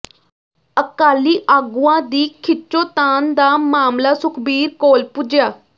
ਅਕਾਲੀ ਆਗੂਆਂ ਦੀ ਖਿੱਚੋਤਾਣ ਦਾ ਮਾਮਲਾ ਸੁਖਬੀਰ ਕੋਲ ਪੁੱਜਿਆ